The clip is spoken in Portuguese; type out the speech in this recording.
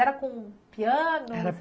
Era com piano?